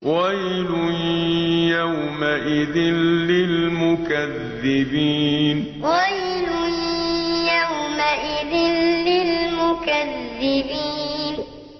وَيْلٌ يَوْمَئِذٍ لِّلْمُكَذِّبِينَ وَيْلٌ يَوْمَئِذٍ لِّلْمُكَذِّبِينَ